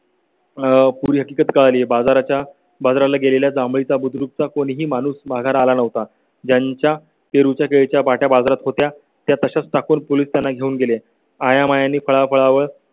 आह पूर्वी हकीकत कळाली बाजाराच्या बाजाराला गेलेल्या जांभळा बुद्रुक चा कोणी ही माणूस बघाला नव्हता. ज्यांच्या पेरू च्या पाट्या बाजारात होत्या त्या तशाच टाकून पोलीस त्यांना घेऊन गेले आयामायणी फळफळावळ